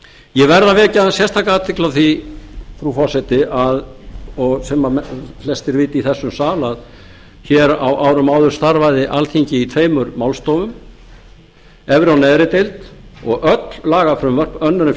ég verð að vekja aðeins sérstaka athygli á því frú forseti og sem flestir vita í þessum sal að hér á árum áður starfaði alþingi í tveimur málstofum efri og neðri deild og öll lagafrumvörp önnur en